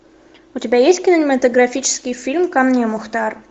у тебя есть кинематографический фильм ко мне мухтар